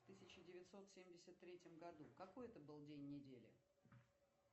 в тысяча девятьсот семьдесят третьем году какой это был день недели